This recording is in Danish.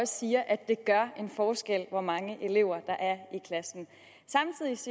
siger at det gør en forskel hvor mange elever der er